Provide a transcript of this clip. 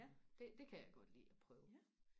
det det kan jeg godt lide og prøve